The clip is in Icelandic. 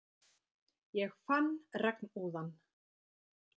Ég fann regnúðann.